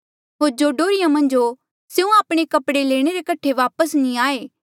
होर जो डोहर्रिया मन्झ हो स्यों आपणे कपड़े लेणे रे कठे वापस नी आये